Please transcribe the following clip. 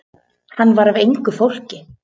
Hann var af engu fólki.